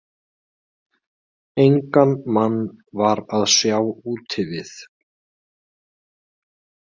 Engan mann var að sjá úti við.